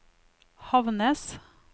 Havnnes